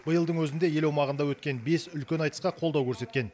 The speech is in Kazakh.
биылдың өзінде ел аумағында өткен бес үлкен айтысқа қолдау көрсеткен